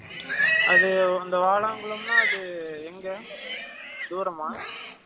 அது இந்த வாலாங்குளம்னா எங்க Silent தூரமா